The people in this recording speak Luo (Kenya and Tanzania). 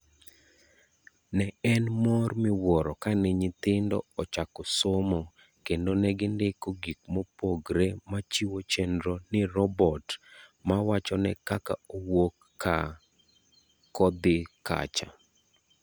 Ne en mor miwuoro kane nyithindo ochako somo kendo ne gindiko gik mopogre machiwo chenro ni robot mawachone kaka owuok kaa kodhi kacha.